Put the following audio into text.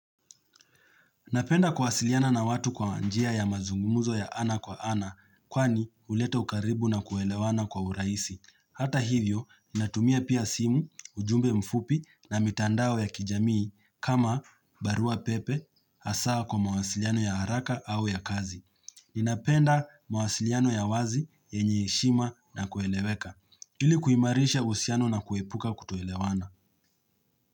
Napenda kuwasiliana na watu kwa wanjia ya mazungumuzo ya ana kwa ana, kwani huleta ukaribu na kuelewana kwa uraisi. Hata hivyo, inatumia pia simu, ujumbe mfupi na mitandao ya kijamii kama barua pepe asaa kwa mawasiliano ya haraka au ya kazi. Inapenda mawasiliano ya wazi, yenye heshima na kueleweka. Hili kuimarisha usiano na kuepuka kutoelewana.